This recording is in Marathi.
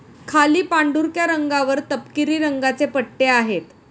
खाली पांढुरक्या रंगावर तपकिरी रंगाचे पट्टे आहेत.